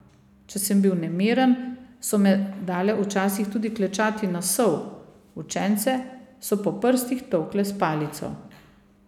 Če sem bil nemiren, so me dale včasih tudi klečati na sol, učence so po prstih tolkle s palico ...